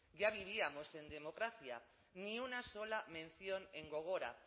ya vivíamos en democracia ni una sola mención en gogora